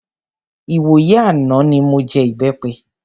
Ìwòyí àná mi mọ jẹ ìbẹpẹ.